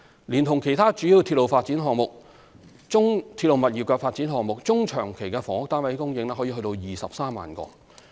連同其他主要鐵路物業發展項目，中長期的房屋單位供應可達23萬個。